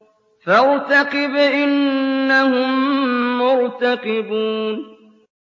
فَارْتَقِبْ إِنَّهُم مُّرْتَقِبُونَ